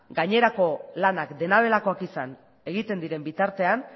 gainerako lanak dena delakoak izan egiten diren bitartean